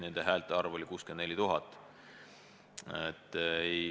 Nende häälte arv oli 64 000.